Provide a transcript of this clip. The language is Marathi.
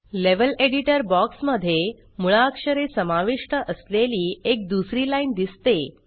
लेव्हल एडिटर बॉक्स मध्ये मूळाक्षरे समाविष्ट असलेली एक दुसरी लाइन दिसते